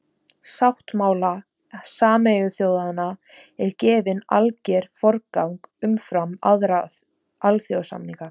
sáttmála sameinuðu þjóðanna er gefinn alger forgangur umfram aðra alþjóðasamninga